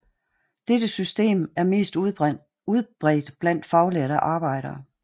Dette system er mest udbredt blandt faglærte arbejdere